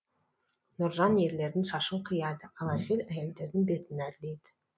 нұржан ерлердің шашын қияды ал әсел әйелдердің бетін әрлейді